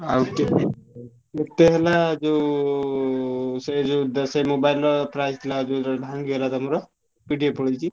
ଆଉ କେତେ ହେଲା ଯୋଉ ଉ ସେ ଯୋଉ mobile ର price ଥିଲା ଯୋଉଟା ଭାଙ୍ଗି ଗଲା ତମର୍? PDF ପଲେଇଛି।